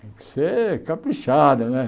Tem que ser caprichada né.